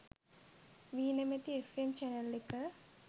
වී නැමැති F M channel එක.